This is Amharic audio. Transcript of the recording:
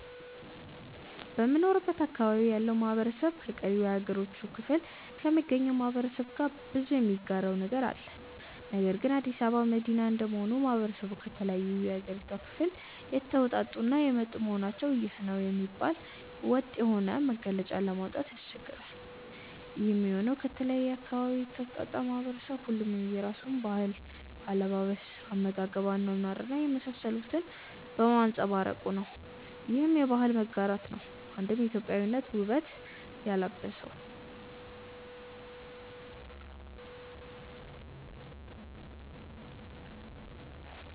በምኖርበት አካባቢ ያለው ማህበረሰብ ከቀሪው የሀገሪቱ ክፍሎ ከሚገኘው ማህበረሰብ ጋር ብዙ የሚጋራው ነገር አለ። ነገር ግን አዲስ አበባ መዲና እንደመሆኑ ማህበረሰቡ ከተለያዩ የሀገሪቷ ክፍል የተወጣጡ እና የመጡ በመሆናቸው ይህ ነው የሚባል ወጥ የሆነ መገለጫ ለማውጣት ያስቸግራል። ይሄም የሆነው ከተለያየ አካባቢ የተውጣጣው ማህበረሰብ ሁሉም የየራሱን ባህል፣ አለባበስ፣ አመጋገብ፣ አኗኗር እና የመሳሰሉትን በማንፀባረቁ ነው። ይህም የባህል መጋራት ነው አንድም ኢትዮጵያዊነትን ውበት ያላበሰው።